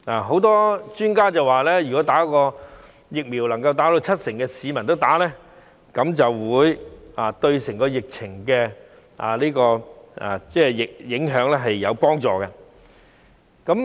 許多專家表示，如果能夠有七成市民注射疫苗，便會對紓緩疫情的影響有幫助。